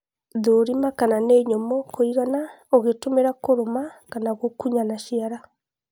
thũrima kana ni nyũmũ kũigana ũgitũmira kũrũma kana gũkunya na ciara